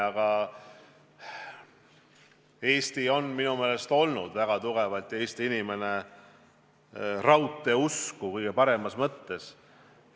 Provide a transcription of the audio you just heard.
Eesti ja siinsed inimesed on minu meelest olnud väga tugevalt raudteeusku, seda kõige paremas mõttes.